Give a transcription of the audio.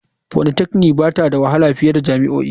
Polytechnic ba ta da wahala fiye da jami'o'i.